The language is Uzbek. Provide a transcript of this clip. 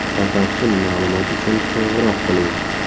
Batafsil ma’lumot uchun qo‘ng‘iroq qiling.